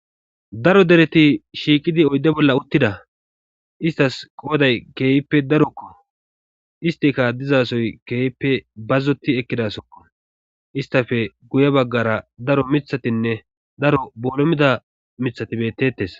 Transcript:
daro dereti shiiqidi oydde bolla uttida istas qooday keehippe darokko istika dizasoy keeyippe bazzoti ekkidasokko istafe guye baggara daro mithatinne daro boolomida mithati bettetes.